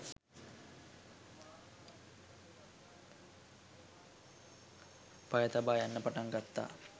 පය තබා යන්න පටන්ගත්තා